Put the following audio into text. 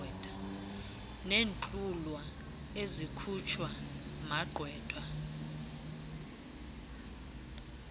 neentlwulwa ezikhutshwa kumagqwetha